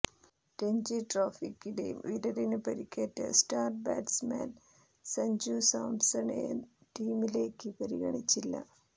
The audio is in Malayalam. രഞ്ജി ട്രോഫിക്കിടെ വിരലിന് പരിക്കേറ്റ സ്റ്റാർ ബാറ്റ്സ്മാൻ സഞ്ജു സാംസണെ ടീമിലേക്ക് പരിഗണിച്ചില്ല